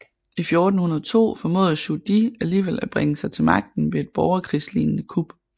I 1402 formåede Zhu Di alligevel at bringe sig til magten ved et borgerkrigslignede kup